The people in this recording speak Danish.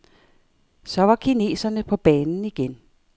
Så var kineserne på banen igen.